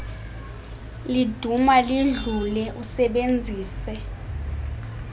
liduduma lidlule usebenzise